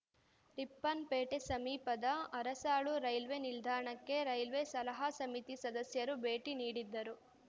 ರಿಪ್ಪನ್‌ಪೇಟೆ ಸಮೀಪದ ಅರಸಾಳು ರೈಲ್ವೆ ನಿಲ್ದಾಣಕ್ಕೆ ರೈಲ್ವೆ ಸಲಹಾ ಸಮಿತಿ ಸದಸ್ಯರು ಭೇಟಿ ನೀಡಿದ್ದರು